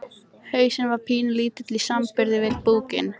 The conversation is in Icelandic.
Hausinn var pínulítill í samanburði við búkinn.